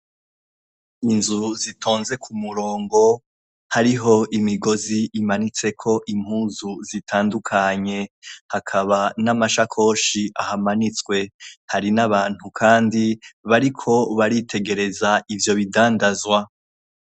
Ni inzu zitonze ku murongo, hariho imigozi imanitseko impuzu zitandukanye. Hakaba n'amashakoshi ahamanitswe. Hari n'abantu kandi bariko baritegereza ivyo bidandazwa.